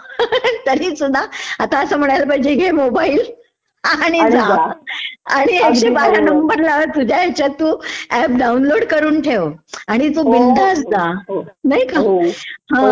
तरीसुध्दा आता असं म्हणायला पाहिजे घे मोबाइल.. आणि जा.....आणि एकशे बारा नंबर तुझ्या ह्यच्यात तू ऍप डाऊनलोड करून ठेव. आणि तू बिनधास्त जा. नाही का?